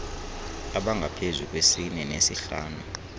abangaphezu kwesine nesihlanu